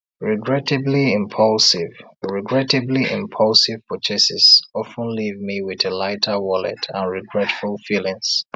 regrettably impulsive regrettably impulsive purchases of ten leave me with a lighter wallet and regretful feelings